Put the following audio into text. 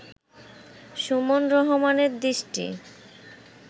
সুমন রহমানের দৃষ্টি